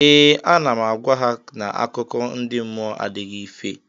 Ee, ana m agwa ha na akụkọ ndị mmụọ adịghị ife